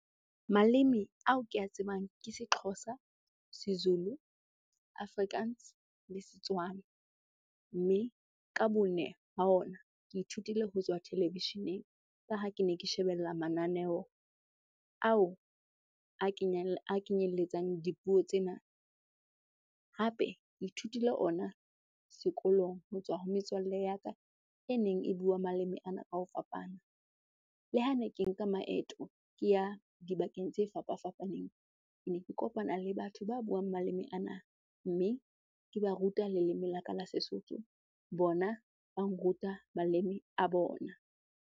Maleme ao ke a tsebang ke seXhosa, seZulu, Afrikaans le Setswana. Mme ka bone ha ona, ke ithutile ho tswa televisheneng ka ha ke ne ke shebella mananeo ao a kenyelletsang dipuo tsena. Hape ke ithutile ona sekolong ho tswa ho metswalle ya ka e neng e bua maleme ana ka ho fapana. Le hane ke nka maeto ke ya dibakeng tse fapafapaneng, ke ne ke kopana le batho ba buang maleme ana mme ke ba ruta leleme la ka la sesotho bona ba nruta maleme a bona.